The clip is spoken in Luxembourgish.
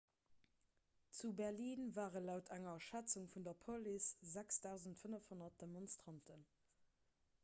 zu berlin ware laut enger schätzung vun der police 6 500 demonstranten